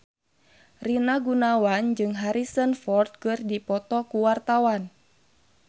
Rina Gunawan jeung Harrison Ford keur dipoto ku wartawan